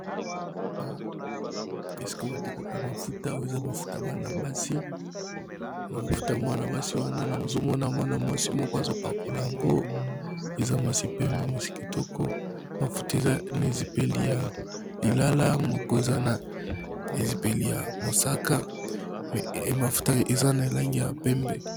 Esika batekaka mafuta oyo eza mafuta mafuta mwana basi wana na zomona mwana mwasi moko azopakola yango eza mwasi pembe mwasi kitoko mafuta eza na ezipeli ya lilala moko eza na na ezipeli ya mosaka mais mafuta eza na elange ya pembe.